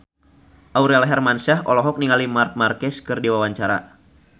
Aurel Hermansyah olohok ningali Marc Marquez keur diwawancara